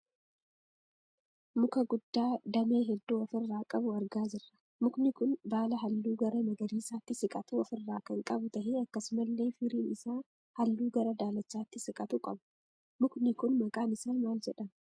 Muka guddaa damee hedduu ofirraa qabu argaa jirra. Mukni kun baala halluu gara magariisaatti siqatu ofirraa kan qabu tahee akkasumallee firiin isaa hallu gara daalachaatti siqatu qaba. Mukni kun maqaan isaa maal jedhama?